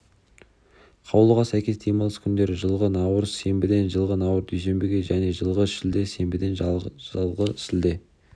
қаулыға сәйкес демалыс күндері жылғы наурыз сенбіден жылғы наурыз дүйсенбіге және жылғы шілде сенбіден жылғы шілде